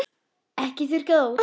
Ekki þurrka það út.